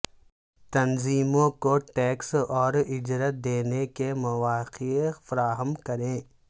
تنظیموں کو ٹیکس اور اجرت دینے کے مواقع فراہم کریں